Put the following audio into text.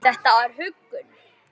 Þetta var huggun.